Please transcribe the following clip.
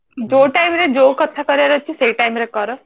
ଯୋଉ time re ଯୋଉ କଥା କରିବାର ଅଛି ସେଇ time ରେ ସେଇ କଥା କର